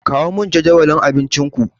Kawo min jadawalin abincinku.